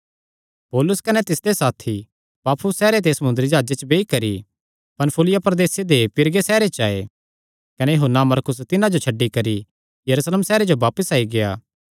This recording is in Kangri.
पौलुस कने तिसदे साथी पाफुस सैहरे ते समुंदरी जाह्जे च बेई करी पन्फूलिया प्रदेसे दे पीरगे सैहरे च आये कने यूहन्ना मरकुस तिन्हां जो छड्डी करी यरूशलेम सैहरे जो बापस आई गेआ